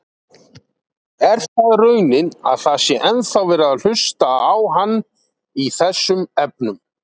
Er það raunin að það sé ennþá verið að hlusta á hann í þessum efnum?